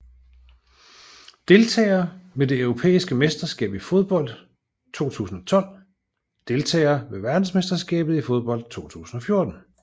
Deltagere ved det europæiske mesterskab i fodbold 2012 Deltagere ved verdensmesterskabet i fodbold 2014